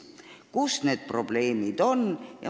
Kus on need probleemid?